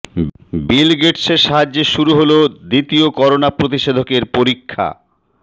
বিল গেটসের সাহায্যে শুরু হল দ্বিতীয় করোনা প্রতিষেধকের পরীক্ষা